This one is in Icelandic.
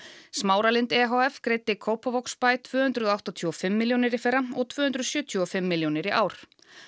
Smáralind e h f greiddi Kópavogsbæ tvö hundruð áttatíu og fimm milljónir í fyrra og tvö hundruð sjötíu og fimm milljónir í ár